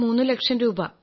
മൂന്നു ലക്ഷം രൂപ